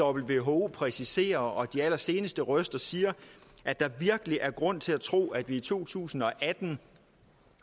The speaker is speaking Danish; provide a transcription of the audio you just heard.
who præciserer og de allerseneste røster siger at der virkelig er grund til at tro at vi i to tusind og atten